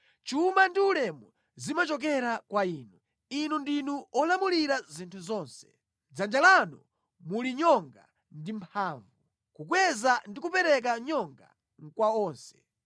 Chuma ndi ulemu zimachokera kwa Inu; Inu ndinu wolamulira zinthu zonse. Mʼdzanja lanu muli nyonga ndi mphamvu, kukweza ndi kupereka nyonga kwa onse.